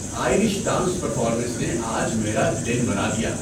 Irish dance performance نے آج میرا دن بنا دیا۔